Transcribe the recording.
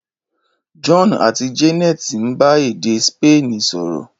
John àti Janet ń bá èdè Sípéènì sọ̀rọ̀.